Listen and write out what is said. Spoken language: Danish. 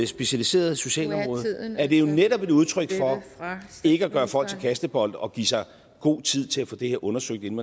specialiserede socialområde at det jo netop er et udtryk for ikke at gøre folk til kastebold og give sig god tid til at få det her undersøgt inden